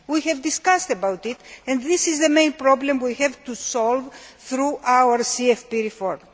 We have discussed it and this is the main problem we have to solve through our CFP reform.